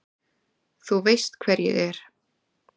Þú veist hver ég er.